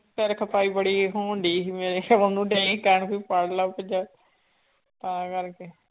ਸਿਰ ਖਪਾਈ ਬੜੀ ਹੋਣਡੀ ਸੀ ਮੇਰੇ ਤੇ ਇਹ ਕਹਿਣ ਵੀ ਪੜ੍ਹ ਲਾ ਤਾਂ ਕਰਕੇ